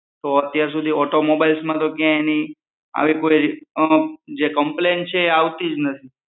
તો અત્યારસુધી mobile માં તો ક્યાય એની આવી કોઈ અં જે કમ્પ્લેઇન કોઈ આવતી જ નથી